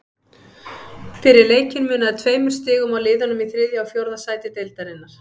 Fyrir leikinn munaði tveimur stigum á liðunum í þriðja og fjórða sæti deildarinnar.